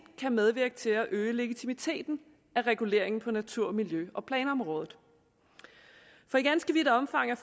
kan medvirke til at øge legitimiteten af reguleringen på natur miljø og planområdet for i ganske vidt omfang er